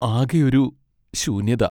ആകെയൊരു ശൂന്യത.